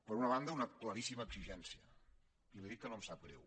per una banda una claríssima exigència i li dic que no em sap greu